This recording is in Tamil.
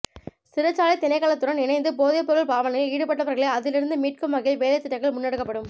சிறைச்சாலை திணைக்களத்துடன் இணைந்து போதைப்பொருள் பாவனையில் ஈடுபட்டவர்களை அதிலிருந்து மீட்கும் வகையில் வேலைத்திட்டங்கள் முன்னெடுக்கப்படும்